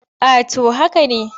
A to haka ne.